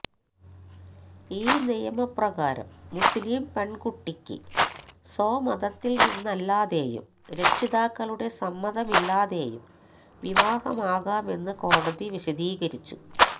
ഈ നിയമപ്രകാരം മുസ്ലിം പെണ്കുട്ടിക്ക് സ്വമതത്തില്നിന്നല്ലാതെയും രക്ഷിതാക്കളുടെ സമ്മതമില്ലാതെയും വിവാഹമാകാമെന്ന് കോടതി വിശദീകരിച്ചു